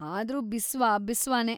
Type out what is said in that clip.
ಆದ್ರೂ ಬಿಸ್ವ ಬಿಸ್ವಾನೇ.